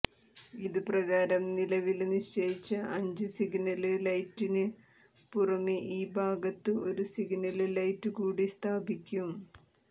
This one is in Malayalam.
ഇതു പ്രകാരം നിലവില് നിശ്ചയിച്ച അഞ്ച് സിഗ്നല് ലൈറ്റിന് പുറമെ ഈ ഭാഗത്ത് ഒരു സിഗ്നല് ലൈറ്റ് കൂടി സ്ഥാപിക്കും